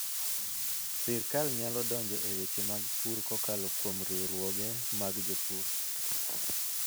Sirkal nyalo donjo e weche mag pur kokalo kuom riwruoge mag jopur.